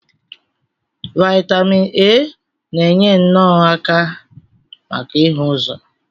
Vaitamin A na-enye nno aka maka ịhụ ụzọ.